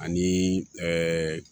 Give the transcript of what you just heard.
Ani ɛɛ